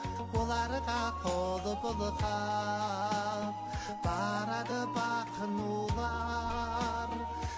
олар да қол бұлғап барады бақ нулар